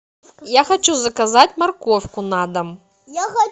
я хочу заказать морковку на дом